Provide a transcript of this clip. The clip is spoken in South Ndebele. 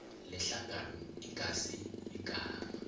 lehlangano ingasi igama